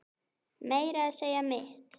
Meira að segja mitt